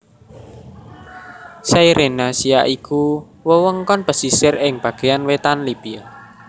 Cyrenaica iku wewengkon pesisir ing bagéyan wétan Libya